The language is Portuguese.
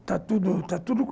Está tudo, está tudo.